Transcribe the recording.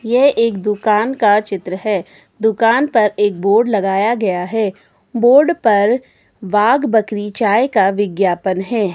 यह एक दुकान का चित्र है दुकान पर एक बोर्ड लगाया गया है बोर्ड पर बाघ बकरी चाय का विज्ञापन है।